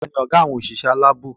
Tani ọgá àwọn òṣìṣẹ́ aláàbò?